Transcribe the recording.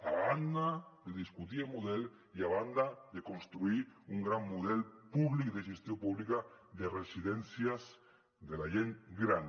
a banda de discutir el model i a banda de construir un gran model públic de gestió pública de residències de la gent gran